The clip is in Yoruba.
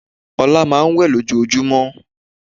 Ola máà ń wẹ̀ lojojúmọ́.